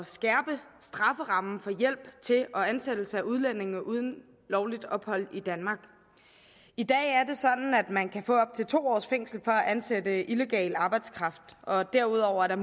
skærpe strafferammen for hjælp til og ansættelse af udlændinge uden lovligt ophold i danmark i dag er det sådan at man kan få op til to års fængsel for at ansætte illegal arbejdskraft og derudover er